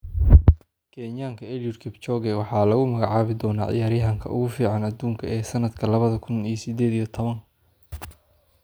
Kenyanka Eliud Kipchoge waxaa lagu magacaabi doonaa ciyaaryahanka ugu fiican adduunka ee sanadka lawadha kun iyo sided iyo towan.